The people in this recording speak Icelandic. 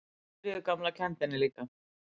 Sigríður gamla kenndi henni líka.